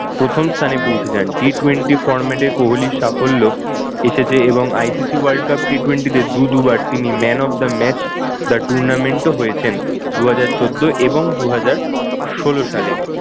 প্রথম স্থানে পৌঁছে যান। T twenty format এ কোহলির সাফল্য এসেছে এবং ICC world cup T twenty তে দু দু বার তিনি man of the match of the tournament ও হয়েছেন, দুহাজার চোদ্দ এবং দুহাজার ষোল সালে।